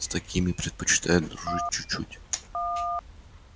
с такими предпочитают дружить чуть-чуть